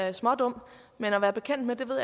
er smådum men at være bekendt med ved